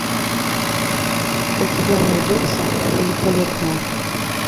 у тебя найдется великолепная